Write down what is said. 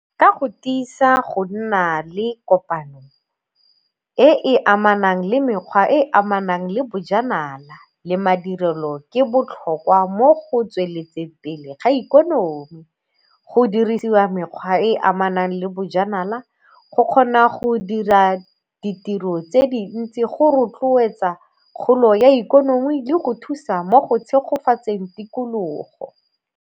Ka go tiisa go nna le kopano e e amanang le mekgwa e e amanang le bojanala le madirelo ke botlhokwa mo go tsweletseng pele ga ikonomi. Go dirisiwa mekgwa e e amanang le bojanala go kgona go dira ditiro tse dintsi go rotloetsa kgolo ya ikonomi le go thusa mo go tshegofatseng tikologo.